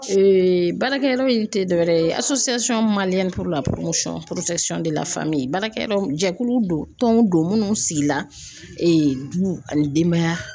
baarakɛyɔrɔ in tɛ dɔwɛrɛ ye baara kɛyɔrɔ jɛkulu don, tɔnw don, minnu sigila du ani denbaya